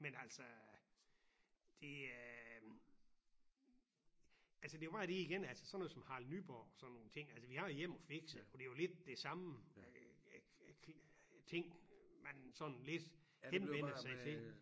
Men altså det øh altså det jo meget det igen altså sådan noget som Harald Nyborg sådan nogle ting altså vi har Jem og Fiks og det jo lidt det samme ting man sådan lidt henvender sig til